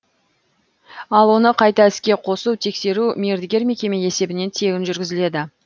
ал оны қайта іске қосу тексеру мердігер мекеме есебінен тегін жүргізіледі